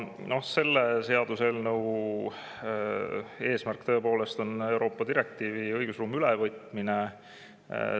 Selle seaduseelnõu eesmärk on tõepoolest Euroopa direktiivi ülevõtmine meie õigusruumi.